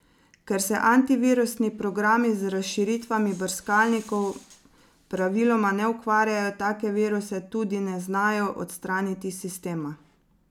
Ker se antivirusni programi z razširitvami brskalnikov praviloma ne ukvarjajo, take viruse tudi ne znajo odstraniti iz sistema.